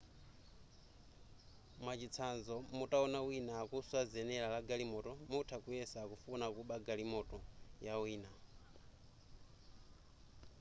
mwachitsanzo mutawona wina akuswa zenera la galimoto mutha kuyesa akufuna kuba galimoto ya wina